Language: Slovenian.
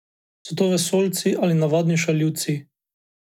So to vesoljci ali navadni šaljivci?